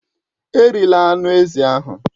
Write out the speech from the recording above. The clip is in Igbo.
Erila anụ ezi ahụ!